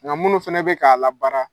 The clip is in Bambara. Ŋa munnu fɛnɛ bɛ k'a labaara